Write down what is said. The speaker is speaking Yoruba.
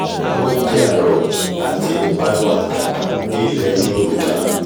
oúnjẹ àárọ̀ àti ìpanu àtàtà ní ilẹ yorùbá